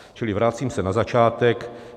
Čili vracím se na začátek.